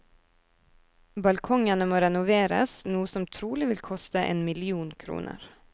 Balkongene må renoveres, noe som trolig vil koste en million kroner.